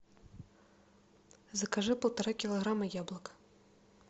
закажи полтора килограмма яблок